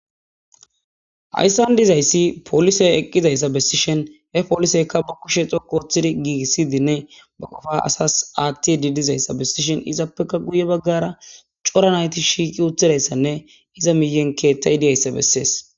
Haysan dizaysi polise eqidaysa besishin ha poliseyka ba kushe dhoqu otidi gigisidine ba qofa asas atidi dizaysa besishen izappeka guye bagara c'ora nayti shiqi utidaysane iza miyen kethay diyaysa beses.